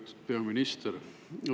Lugupeetud peaminister!